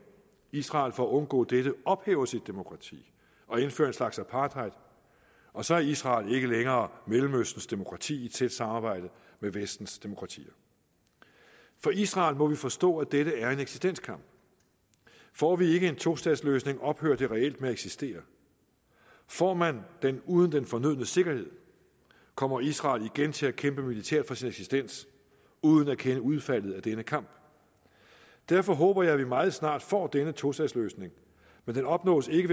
israel for at undgå dette ophæver sit demokrati og indfører en slags apartheid og så er israel ikke længere mellemøstens demokrati i et tæt samarbejde med vestens demokratier for israel må vi forstå at dette er en eksistenskamp får vi ikke en tostatsløsning ophører det reelt med at eksistere får man den uden den fornødne sikkerhed kommer israel igen til at kæmpe militært for sin eksistens uden at kende udfaldet af denne kamp derfor håber jeg at vi meget snart får denne tostatsløsning men den opnås ikke